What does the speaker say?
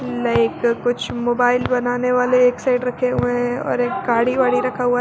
Like कुछ mobile बनाने वाले एक साइड रखे हुए हैं और एक गाड़ी वाड़ी रखा हुआ है।